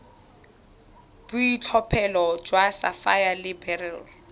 boitlhophelo jwa sapphire le beryl